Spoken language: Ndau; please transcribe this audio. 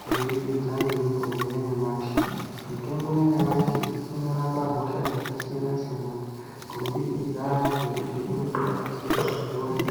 kubudikidza ngemitombo yanyamashi mitombo yanyamashi inorapa hosha dzakasiyana siyana kubudikidza ngekuti inenga yakanasirirwa izvozvo .